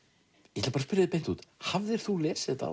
ég ætla að spyrja þig beint út hafðir þú lesið þetta